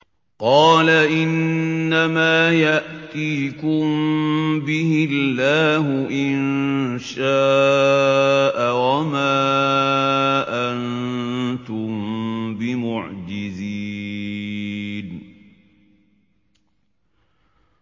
قَالَ إِنَّمَا يَأْتِيكُم بِهِ اللَّهُ إِن شَاءَ وَمَا أَنتُم بِمُعْجِزِينَ